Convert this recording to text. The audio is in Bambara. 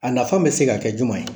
A nafan bɛ se ka kɛ juman ye ?